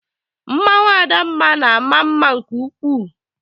Mmanwụ adamma na-ama mma nke ukwuu.